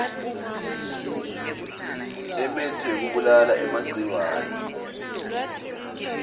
emitsi yekubulala emagciwane